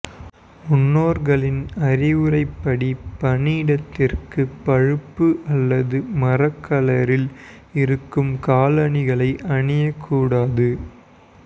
முன்னோர்களின் அறிவுரைப்படி பணியிடத்திற்கு பழுப்பு அல்லது மரக்கலரில் இருக்கும் காலணிகளை அணியக்கூடாது